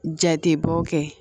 Jatebɔ kɛ